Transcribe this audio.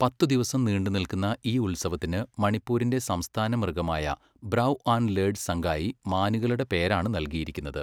പത്ത് ദിവസം നീണ്ടുനിൽക്കുന്ന ഈ ഉത്സവത്തിന് മണിപ്പൂരിന്റെ സംസ്ഥാന മൃഗമായ ബ്രൗ ആൻ്റ് ലേർഡ് സംഗായി മാനുകളുടെ പേരാണ് നൽകിയിരിക്കുന്നത്.